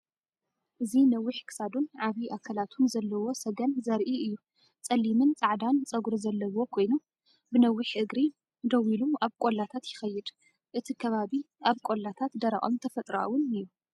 እዚ ነዊሕ ክሳዱን ዓቢ ኣካላቱን ዘለዎ ሰገን ዘርኢ እዩ። ጸሊምን ጻዕዳን ጸጉሪ ዘለዎ ኮይኑ፡ ብነዊሕ እግሪ ደው ኢሉ ኣብ ቆላታት ይኸይድ። እቲ ከባቢ ኣብ ቆላታት ደረቕን ተፈጥሮኣዊን እዩ።